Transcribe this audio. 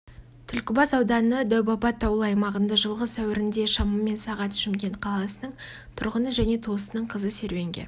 түлкібас ауданы дәубаба таулы аймағында жылғы сәуірінде шамамен сағат шымкент қаласының тұрғыны және туысының қызы серуенге